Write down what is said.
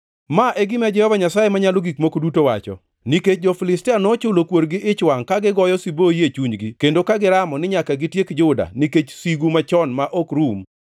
“Ma e gima Jehova Nyasaye Manyalo Gik Moko Duto wacho: ‘Nikech jo-Filistia nochulo kuor gi ich wangʼ ka gigoyo siboi e chunygi kendo ka giramo ni nyaka gitiek Juda nikech sigu machon ma ok rum,